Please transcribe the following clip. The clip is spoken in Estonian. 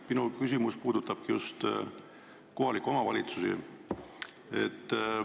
Minu küsimus puudutab just kohalikke omavalitsusi.